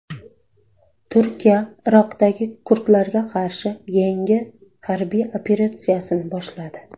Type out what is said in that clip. Turkiya Iroqdagi kurdlarga qarshi yangi harbiy operatsiyani boshladi.